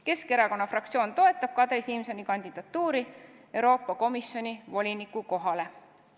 Keskerakonna fraktsioon toetab Kadri Simsoni kandidatuuri Euroopa Komisjoni voliniku kohale.